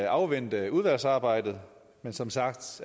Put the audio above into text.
afvente udvalgsarbejdet men som sagt